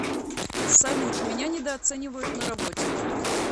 салют меня недооценивают на работе